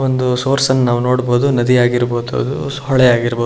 ಒಂದು ಸೋರ್ಸ್ ಅನ್ನು ನಾವು ನೋಡಬಹುದು. ನದಿ ಆಗಿರ್ಬಹುದು ಅದು ಹೊಳೆ ಆಗಿರ್ಬಹುದು.